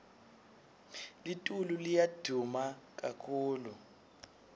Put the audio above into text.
litulu liya duma kakhulu